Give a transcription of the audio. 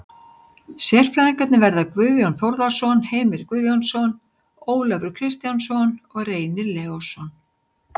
Sérfræðingarnir verða Guðjón Þórðarson, Heimir Guðjónsson, Ólafur Kristjánsson og Reynir Leósson.